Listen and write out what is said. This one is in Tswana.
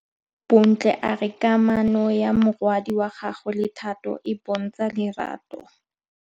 Bontle a re kamanô ya morwadi wa gagwe le Thato e bontsha lerato.